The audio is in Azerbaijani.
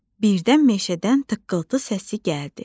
Birdən meşədən tıqqıltı səsi gəldi.